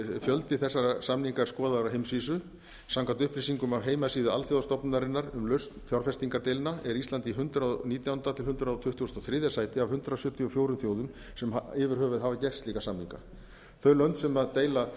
fjöldi þessara samninga er skoðaður á heimsvísu samkvæmt upplýsingum af heimasíðu alþjóðastofnunarinnar um lausn fjárfestingardeilna er ísland í hundrað og nítjánda til hundrað tuttugu og þrjú sæti af hundrað sjötíu og fjögur þjóðum sem yfir höfuð hafa gert slíka samninga þau lönd sem deila